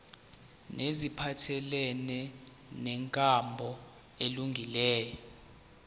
neziphathelene nenkambo elungileyo